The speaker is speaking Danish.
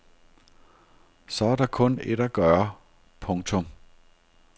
Så er der kun ét at gøre. punktum